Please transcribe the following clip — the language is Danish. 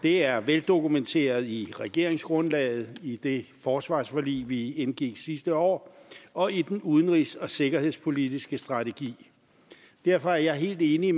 det er veldokumenteret i regeringsgrundlaget i det forsvarsforlig vi indgik sidste år og i den udenrigs og sikkerhedspolitiske strategi derfor er jeg helt enig